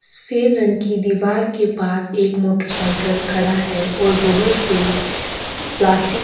सफेद रंग की दीवार के पास एक मोटरसाइकिल खड़ा है और बोहोत से प्लास्टिक --